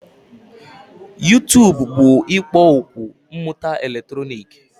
YuTub bụ ikpo okwu mmụta eletrọnịkị